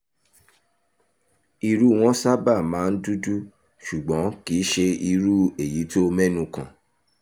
irú wọn sábà máa ń dúdú ṣùgbọ́n kì í ṣe irú èyí tó o mẹ́nu kàn